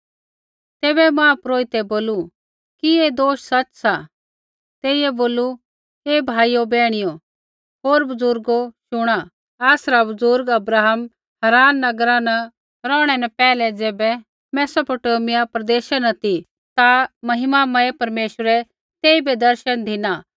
तेइयै बोलू हे भाइयो बैहणियो होर बजुर्गो शुणा आसरा बुज़ुर्ग अब्राहम हाराना नगरा न रौहणै न पैहलै ज़ैबै मैसोपोटामिआ प्रदेशा न ती ता महिमामय परमेश्वरै तेइबै दर्शन धिना